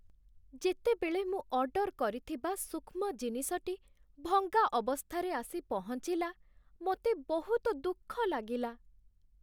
ଯେତେବେଳେ ମୁଁ ଅର୍ଡର କରିଥିବା ସୂକ୍ଷ୍ମ ଜିନିଷଟି ଭଙ୍ଗା ଅବସ୍ଥାରେ ଆସି ପହଞ୍ଚିଲା, ମୋତେ ବହୁତ ଦୁଃଖ ଲାଗିଲା।